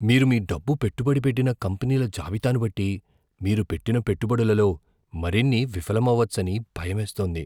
మీరు మీ డబ్బు పెట్టుబడి పెట్టిన కంపెనీల జాబితాను బట్టి, మీరు పెట్టిన పెట్టుబడులలో మరిన్ని విఫలమవచ్చని భయమేస్తోంది.